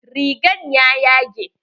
Rigan ya yage.